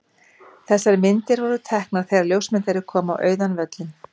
Þessar myndir voru teknar þegar ljósmyndari kom á auðan völlinn.